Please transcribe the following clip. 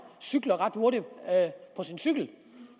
cykler ret hurtigt på sin cykel